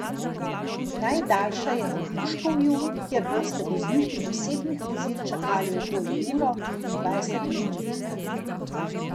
Najdaljša je na Gruškovju, kjer boste vozniki osebnih vozil čakali okoli uro in dvajset minut.